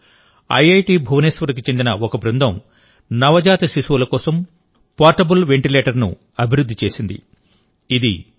ఉదాహరణకు ఐఐటి భువనేశ్వర్కు చెందిన ఒక బృందం నవజాత శిశువుల కోసం పోర్టబుల్ వెంటిలేటర్ను అభివృద్ధి చేసింది